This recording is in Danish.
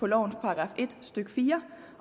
lovens § en stykke fire